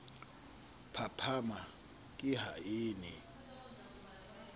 phaphama ke ha a ne